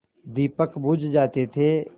दीपक बुझ जाते थे